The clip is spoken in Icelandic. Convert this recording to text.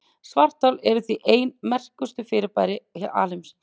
Svarthol eru því ein merkilegustu þekktu fyrirbæri alheimsins.